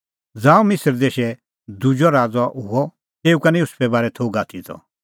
ज़ांऊं मिसर देशै दुजअ राज़अ हुअ तेऊ का निं युसुफे बारै थोघ आथी त